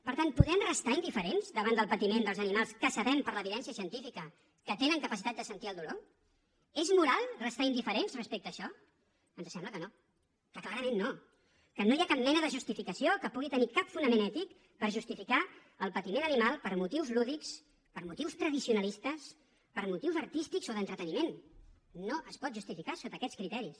per tant podem restar indiferents davant del patiment dels animals que sabem per l’evidència científica que tenen capacitat de sentir el dolor és moral restar indiferents respecte a això ens sembla que no que clarament no que no hi ha cap mena de justificació que pugui tenir cap fonament ètic per justificar el patiment animal per motius lúdics per motius tradicionalistes per motius artístics o d’entreteniment no es pot justificar sota aquests criteris